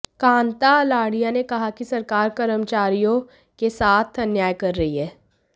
कांता आलड़िया ने कहा कि सरकार कर्मचारियों के साथ अन्याय कर रही है